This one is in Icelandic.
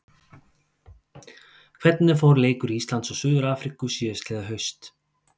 Hvernig fór leikur Íslands og Suður-Afríku síðastliðið haust?